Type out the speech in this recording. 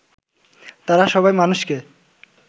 তারা সবাই মানুষকে